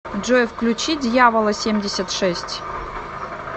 джой включи дьявола семьдесят шесть